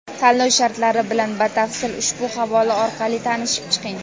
Tanlov shartlari bilan batafsil ushbu havola orqali tanishib chiqing.